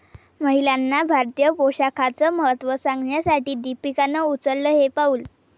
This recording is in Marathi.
महिलांना भारतीय पोशाखाचं महत्त्व सांगण्यासाठी दीपिकानं उचललं हे पाऊल